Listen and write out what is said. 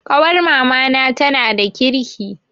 Ƙawar mamana tana da kirki